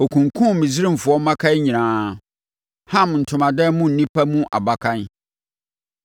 Ɔkunkumm Misraimfoɔ mmakan nyinaa, Ham ntomadan mu nnipa mu abakan.